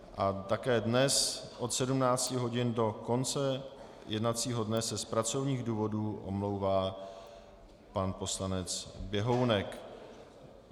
A také dnes od 17 hodin do konce jednacího dne se z pracovních důvodů omlouvá pan poslanec Běhounek.